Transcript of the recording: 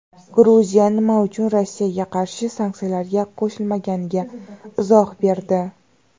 Gruziya nima uchun Rossiyaga qarshi sanksiyalarga qo‘shilmaganiga izoh berdi.